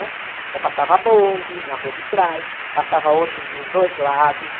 né? Então, passava bonde na rua de trás, passava ônibus dos dois lados.